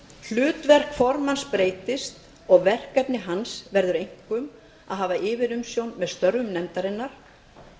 hlutverk formanns breytist og verkefni hans verður einkum að hafa yfirumsjón með störfum nefndarinnar